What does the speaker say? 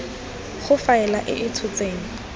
go faela e e tshotseng